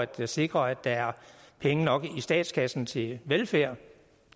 til at sikre at der er penge nok i statskassen til velfærd